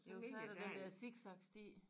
Jo så er der den dér zigzag sti